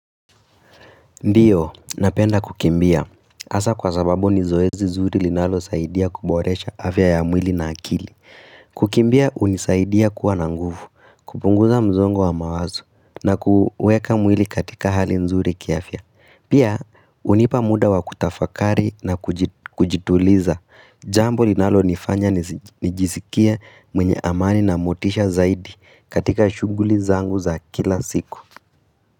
Ndiyo, napenda kukimbia. Hasa kwa sababu ni zoezi zuri linalosaidia kuboresha afya ya mwili na akili. Kukimbia, hunisaidia kuwa na nguvu, kupunguza msongo wa mawazo, na kuweka mwili katika hali nzuri kiafya. Pia, hunipa muda wa kutafakari na kujituliza. Jambo linalo nifanya nijisikie mwenye amani na motisha zaidi katika shughuli zangu za kila siku.